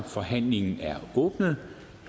forhandlingen er åbnet